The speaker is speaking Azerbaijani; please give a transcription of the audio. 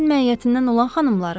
Biz mərhum həyətindən olan xanımlarıq.